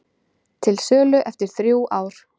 Til sölu eftir þrjú ár